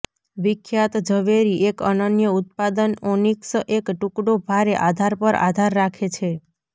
વિખ્યાત ઝવેરી એક અનન્ય ઉત્પાદન ઓનીક્સ એક ટુકડો ભારે આધાર પર આધાર રાખે છે